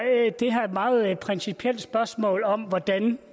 det her et meget principielt spørgsmål om hvordan